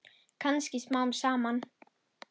Kannski smám saman.